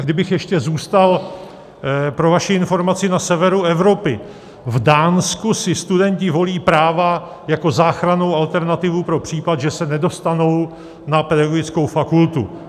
A kdybych ještě zůstal - pro vaši informaci - na severu Evropy, v Dánsku si studenti volí práva jako záchrannou alternativu pro případ, že se nedostanou na pedagogickou fakultu.